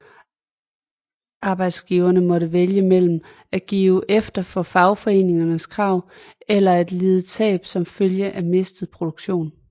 Arbejdsgiverne måtte vælge mellem at give efter for fagforeningernes krav eller at lide tab som følge af mistet produktion